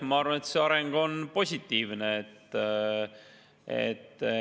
Ma arvan, et see areng on positiivne.